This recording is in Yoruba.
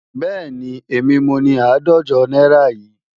Bẹ́ẹ̀ni, èmi mo ni àádọ́jọ náírà yìí.